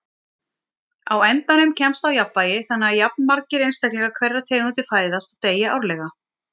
Á endanum kemst á jafnvægi þannig að jafnmargir einstaklingar hverrar tegundar fæðast og deyja árlega.